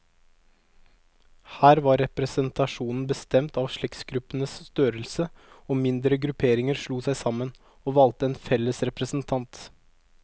Her var representasjonen bestemt av slektsgruppenes størrelse, og mindre grupperinger slo seg sammen, og valgte en felles representant.